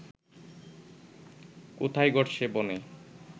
কোথায় ঘটছে বনে